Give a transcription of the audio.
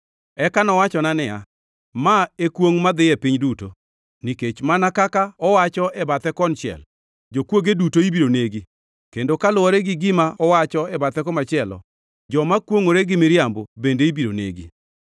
Eka nowachona niya, “Ma e kwongʼ madhi e piny duto; nikech mana kaka owacho e bathe konchiel, jokwoge duto ibiro negi kendo kaluwore gi gima owacho e bathe komachielo, joma kwongʼore gi miriambo, bende ibiro negi.